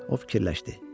O fikirləşdi.